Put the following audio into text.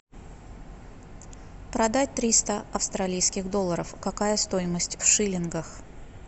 продать триста австралийских долларов какая стоимость в шиллингах